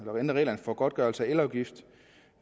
reglerne for godtgørelse af elafgift